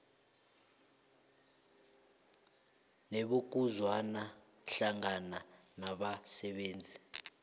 nebokuzwana hlangana nabasebenzi